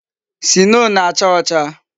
Sinoo na-acha ocha